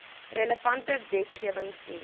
relevante wetgewing sien